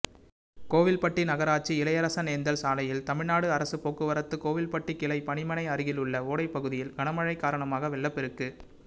கோவில்பட்டி நகராட்சி இளையரசனேந்தல் சாலையில் தமிழ்நாடு அரசுப் போக்குவரத்து கோவில்பட்டி கிளை பணிமனை அருகிலுள்ள ஓடைப்பகுதியில் கனமழை காரணமாக வெள்ளப்பெருக்கு